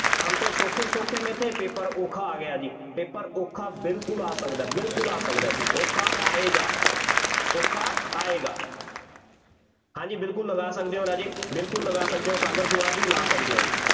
ਹਮ ਤੋਂ ਸੌਖੇ ਸੌਖੇ ਮੇਂ ਥੇ, paper ਔਖਾ ਆ ਗਿਆ ਜੀ, ਪੇਪਰ ਔਖਾ ਬਿਲਕੁੱਲ ਆ ਸਕਦਾ, ਬਿਲਕੁੱਲ ਆ ਸਕਦਾ ਬਈ ਔਖਾ ਆਏਗਾ, ਔਖਾ ਆਏਗਾ ਹਾਂਜੀ ਬਿਲਕੁੱਲ ਲਗਾ ਸਕਦੇ ਹੋ ਰਾਜੇ, ਬਿਲਕੁੱਲ ਲਗਾ ਸਕਦੇ ਹੋ, ਸਾਗਰ ਕੁਮਾਰ ਜੀ ਲਾ ਸਕਦੇ ਹੋ ਜੀ,